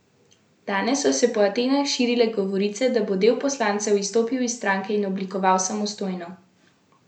Danes so se po Atenah širile govorice, da bo del poslancev izstopil iz stranke in oblikoval samostojno poslansko skupino.